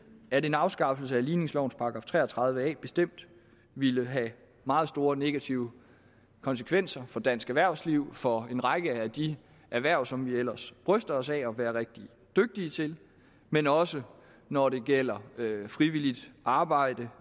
at en afskaffelse af ligningslovens § tre og tredive a bestemt ville have meget store negative konsekvenser for dansk erhvervsliv for en række af de erhverv som vi ellers bryster os af at være rigtig dygtige til men også når det gælder frivilligt arbejde